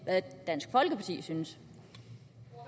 hvad dansk folkeparti synes